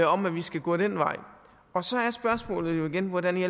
om at vi skal gå den vej og så er spørgsmålet igen hvordan i